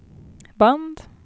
band